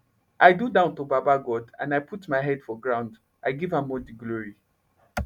i do down to baba god and i put my head for ground i give am all the glory